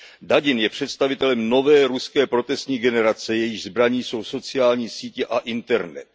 Dadin je představitelem nové ruské protestní generace, jejíž zbraní jsou sociální sítě a internet.